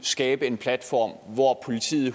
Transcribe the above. skabe en platform hvor politiet